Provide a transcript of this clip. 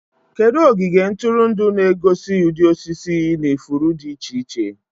Kedu ogige ntụrụndụ na-egosi ụdị osisi na ifuru dị iche iche?